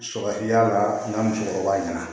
Sɔrɔ y'a la n ka musokɔrɔba ɲɛna